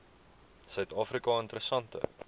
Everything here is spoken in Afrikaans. suid afrika interessante